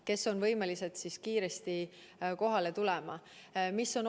Kes on võimelised siis kiiresti kohale tulema?